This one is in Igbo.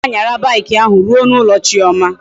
Anyi ga anyara bike ahu ruo na ulo chioma